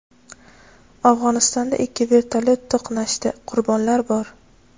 Afg‘onistonda ikki vertolyot to‘qnashdi, Qurbonlar bor.